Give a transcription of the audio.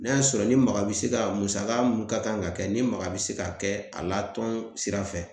N'a y'a sɔrɔ ni maga bɛ se ka musaka minnu ka kan ka kɛ ni maga bɛ se ka kɛ a la tɔn sira fɛ